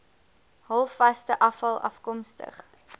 halfvaste afval afkomstig